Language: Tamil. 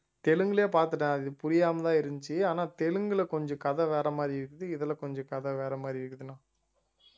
தெலுங்குலயே பாத்துட்டேன் அது புரியாமத்தான் இருந்துச்சு ஆனா தெலுங்குல கொஞ்சம் கதை வேற மாதிரி இருக்குது இதுல கொஞ்சம் கதை வேற மாதிரி இருக்குதுன்னா